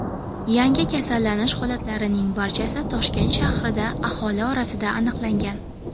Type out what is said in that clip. Yangi kasallanish holatlarining barchasi Toshkent shahrida aholi orasida aniqlangan.